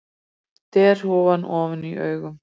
Derhúfan ofan í augum.